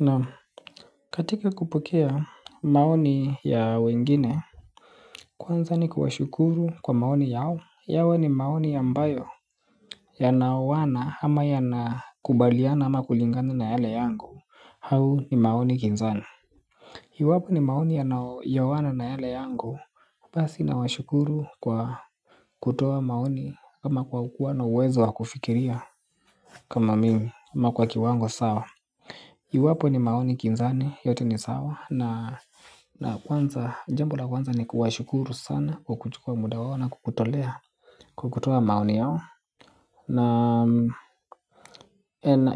Naam, katika kupokea maoni ya wengine. Kwanza ni kuwashukuru kwa maoni yao yawe ni maoni ambayo yanaoana ama yanakubaliana ama kulingangana na yale yangu au ni maoni pinzani, iwapo ni maoni yanyooana na yale yangu. Basi nawashukuru kwa kutoa maoni kama kwa kukua na uwezo wa kufikiria. Kama mimi ama kwa kiwango sawa iwapo ni maoni pinzani yote ni sawa na na kwanza, jambo la kwanza ni kuwashukuru sana kukuchukua muda wao na kukutolea kwa kutoa maoni yao. Na